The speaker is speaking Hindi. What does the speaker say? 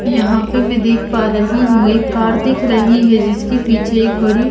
यहाँ पे मैं देख पा रही हूं एक कार दिख रही है जिसके पीछे एक बड़ी--